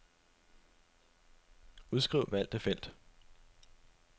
Udskriv valgte felt.